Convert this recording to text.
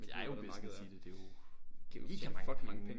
Og der er jo business i det jo mega mange penge